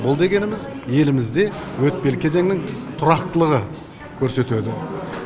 бұл дегеніміз елімізде өтпелі кезеңнің тұрақтылығы көрсетеді